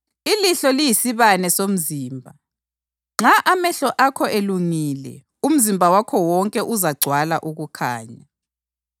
Ilihlo liyisibane somzimba. Nxa amehlo akho elungile umzimba wakho wonke uzagcwala ukukhanya.